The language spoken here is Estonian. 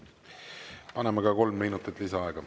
Anname kolm minutit lisaaega.